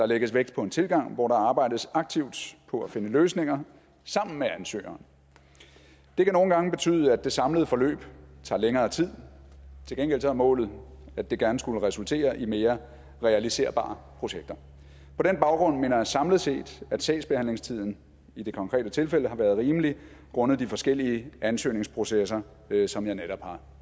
lægges vægt på en tilgang hvor der arbejdes aktivt på at finde løsninger sammen med ansøgeren det kan nogle gange betyde at det samlede forløb tager længere tid til gengæld er målet at det gerne skulle resultere i mere realiserbare projekter på den baggrund mener jeg samlet set at sagsbehandlingstiden i det konkrete tilfælde har været rimelig grundet de forskellige ansøgningsprocesser som jeg netop har